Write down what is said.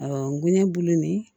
Awɔ ngɛnɛ bulu nin